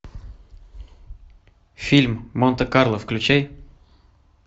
фильм монте карло включай